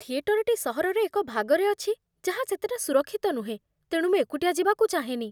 ଥିଏଟରଟି ସହରର ଏକ ଭାଗରେ ଅଛି ଯାହା ସେତେଟା ସୁରକ୍ଷିତ ନୁହେଁ, ତେଣୁ ମୁଁ ଏକୁଟିଆ ଯିବାକୁ ଚାହେଁନି।